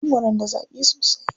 Mangwaron da zaƙi sosai.